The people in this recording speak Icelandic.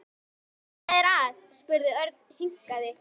Hvað er að? spurði Örn hikandi.